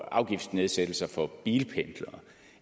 afgiftsnedsættelser for bilpendlere